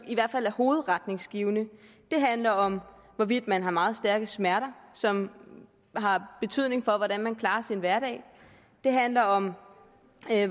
i hvert fald er hovedretningsgivende det handler om hvorvidt man har meget stærke smerter som har betydning for hvordan man klarer sin hverdag det handler om